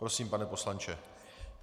Prosím, pane poslanče.